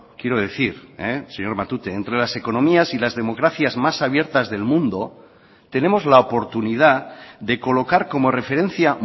quiero decir señor matute entre las economías y las democracias más abiertas del mundo tenemos la oportunidad de colocar como referencia